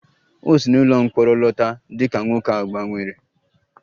O si n'ụlọ mkpọrọ lọta dị ka nwoke a gbanwere